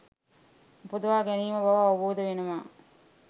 උපදවා ගැනීම බව අවබෝධ වෙනවා.